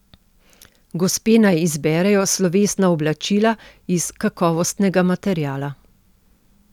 Gospe naj izberejo slovesna oblačila iz kakovostnega materiala.